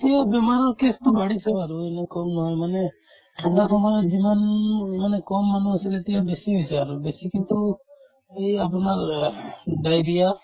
এতিয়া বেমাৰৰ case তো বাঢ়িছে বাৰু এনেও কম নহয় মানে ঠাণ্ডা সময়ত যিমান মানে কম মানুহ আছিলে এতিয়া বেছি হৈছে আৰু বেছিকেতো এই আপোনাৰ এহ্ diarrhea